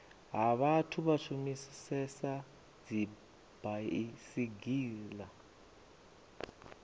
ha vhathu vha shumisesa dzibaisigila